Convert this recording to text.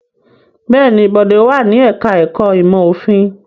Bẹ́ẹ̀ ni, Bọ̀dé wà ní ẹ̀ka-ẹ̀kọ́ ìmọ̀-òfin.